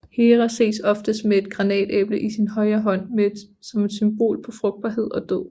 Hera ses ofte med et granatæble i sin højre hånd som et symbol på frugtbarhed og død